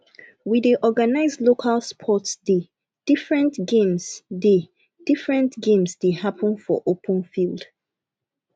we dey organize local sports day different games day different games dey happen for open field